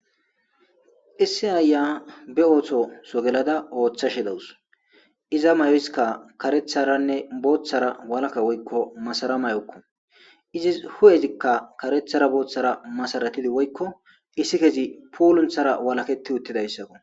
Issi ayiya be oso so othashe de'awus iza ma'oysika karethanne bothara walaka woyko masara ma'okko izis huphezika karethara bothara masaratid issi kezi puluntara walaketi utidaysako.